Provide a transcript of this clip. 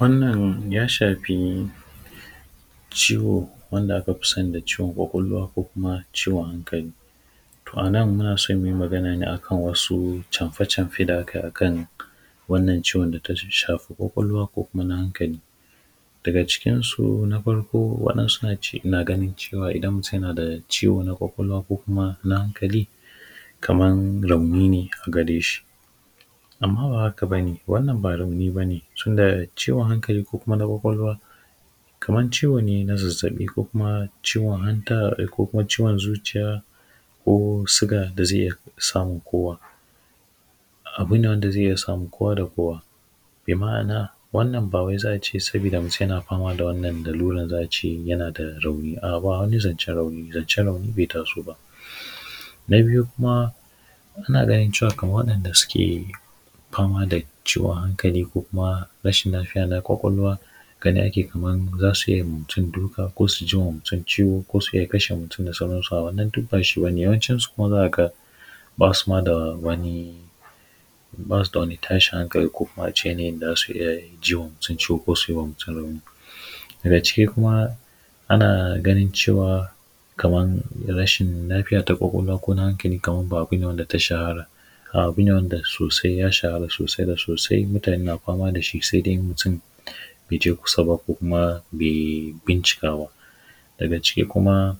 Wannan ya shafi ciwo wanda aka fi sani da ciwon ƙwaƙwalwa ko kuma ciwon hankali. To a nan, muna so ne mu yi magana a kan wasu camfe camfe da ake yi a kan wannan ciwon da ta shafi ƙwaƙwalwa ko kuma na hankali. Daga cikinsu na farko, waɗansu na ganin cewa idan mutum yana da ciwo na ƙwaƙwalwa ko kuma na hankali, kaman rauni ne a gare shi. Amma ba haka ba ne, wannan ba rauni ba ne, tunda ciwon hankali ko kuma na ƙwaƙwalwa kaman ciwo ne na zazzaɓi ko kuma ciwon hanta ko kuma ciwon zuciya ko suga da zai iya samun kowa. Abu ne wanda zai iya samun kowa da kowa. Bi ma’ana, wannan ba wai za a ce, sabida mutum yana fama da wannan laruran, za a ce yana da rauni. A’a, ba wani zancen rauni, zancen rauni bai taso ba. Na biyu kuma, ana ganin cewa, kaman waɗanda suke fama da ciwon hankali ko kuma rashin lafiya na ƙwaƙwalwa gani ake kaman za su iya yi ma mutum duka ko su ji ma mutum ciwo ko su iya kashe mutum da sauransu, a’a wannan duk ba shi ba ne, yawancinsu kuma za ka ga ba su ma da wani, ba su da wani tashin hankali ko kuma a ce yanayin da za su iya ji ma mutum ciwo ko su yi ma mutum rauni. Daga ciki kuma ana ganin cewa, kaman rashin lafiya ta ƙwaƙwalwa ko na hankali kaman ba abu ne da ta shahara Abu ne wanda sosai ya shahara sosai da sosai, mutane na fama da shi, sai dai mutum bai je kusa ba ko kuma bai bincika ba. Daga ciki kuma,